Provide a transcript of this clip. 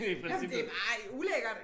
Jamen det bare ulækkert